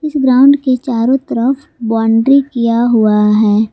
Ground के चारों तरफ बाउंड्री किया हुआ है।